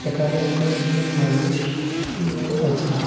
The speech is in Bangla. একানে কয়েকজন মানুষ শু-শুয়ে আছে।